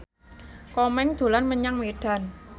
Komeng dolan menyang Medan